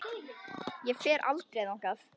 Ég fer aldrei þangað.